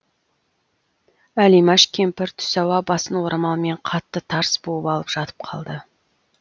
әлимаш кемпір түс ауа басын орамалмен қатты тарс буып алып жатып қалды